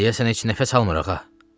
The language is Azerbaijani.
Deyəsən heç nəfəs almır, ağa.